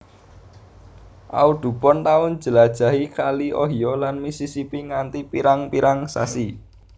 Audubon tau njlajahi kali Ohio lan Missisipi nganti pirang pirang sasi